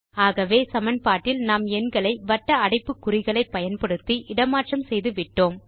ஆகவே சமன்பாட்டில் நாம் எண்களை வட்ட அடைப்புக்குறிகளை பயன்படுத்தி இட மாற்றம் செய்துவிட்டோம்